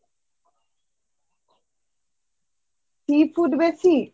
Seafood বেশি?